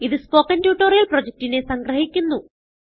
ഇതു spoken tutorial പ്രൊജക്റ്റിനെ സംഗ്രഹിക്കുന്നു